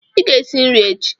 Ị ga-esi nri echi.